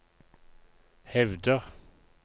hevder